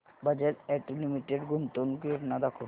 Bajaj auto limited गुंतवणूक योजना दाखव